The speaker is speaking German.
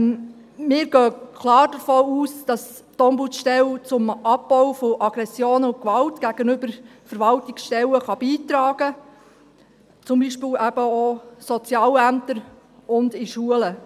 Wir gehen klar davon aus, dass die Ombudsstelle zum Abbau von Aggressionen und Gewalt gegenüber Verwaltungsstellen beitragen kann, zum Beispiel auch bei Sozialämtern und in Schulen.